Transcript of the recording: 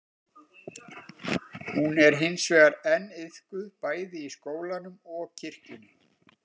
Hún er hins vegar enn iðkuð bæði í skólanum og kirkjunni.